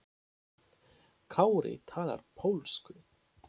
Kári talar pólsku.